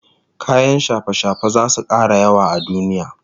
Kayan shafe-shafe zasu kara yawa a duniya